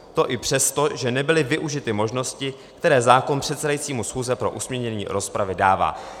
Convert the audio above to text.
To i přesto, že nebyly využity možnosti, které zákon předsedajícímu schůze pro usměrnění rozpravy dává.